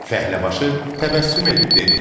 Fəhləbaşı təbəssüm edib dedi: